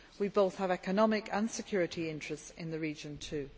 We both have economic and security interests in the region too.